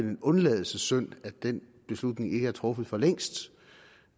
en undladelsessynd at den beslutning ikke er truffet for længst